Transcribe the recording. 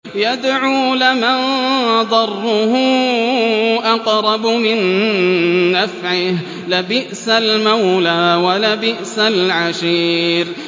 يَدْعُو لَمَن ضَرُّهُ أَقْرَبُ مِن نَّفْعِهِ ۚ لَبِئْسَ الْمَوْلَىٰ وَلَبِئْسَ الْعَشِيرُ